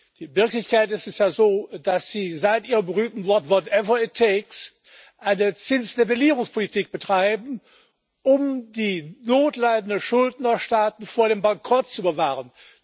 In Wirklichkeit ist es ja so, dass Sie seit Ihrem berühmten Wort eine Zinsnivellierungspolitik betreiben, um die notleidenden Schuldnerstaaten vor dem Bankrott zu bewahren.